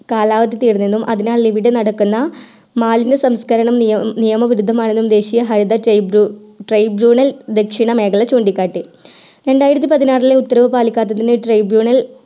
കാലാവധി തീർന്നു എന്നും അതിനാൽ ഇവിടെ നടക്കുന്ന മാലിന്യ സംസ്കരണ നിയമവിരുദ്ധമാണെന്നും ദേശിയ ഹരിത tribunal ദേശിന മേഖല ചൂണികാട്ടി രണ്ടായിരത്തി പതിനാറിലും ഉത്തരവ് പാലിക്കാത്തതിന് tribunal